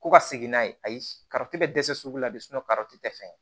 Ko ka segin n'a ye ayi karicɛ bɛ dɛsɛ sugu la bi karitɔn tɛ fɛn ye